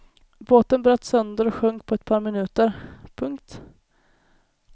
Båten bröts sönder och sjönk på ett par minuter. punkt